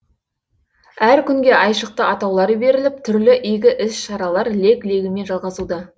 әр күнге айшықты атаулар беріліп түрлі игі іс шаралар лек легімен жалғасуда